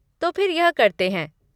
तो फिर यह करते हैं।